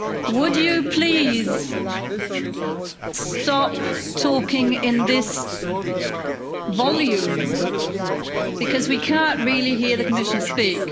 Would you please stop talking at that volume, because we can't really hear the Commissioner speak.